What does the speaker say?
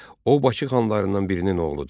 O, Bakı xanlarından birinin oğludur.